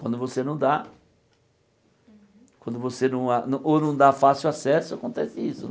Quando você não dá quando você não a ou não dá fácil acesso, acontece isso, né?